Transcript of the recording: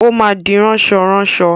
Ó má di ránsọránaọ.